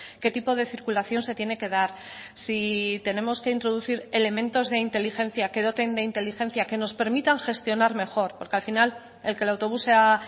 qué tipo de circulación se tiene que dar si tenemos que introducir elementos de inteligencia que doten de inteligencia que nos permitan gestionar mejor porque al final el que el autobús sea